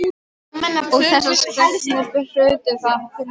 Sabrína, manstu hvað verslunin hét sem við fórum í á miðvikudaginn?